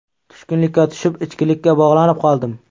Tushkunlikka tushib, ichkilikka bog‘lanib qoldim.